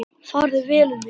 Farið vel um mig?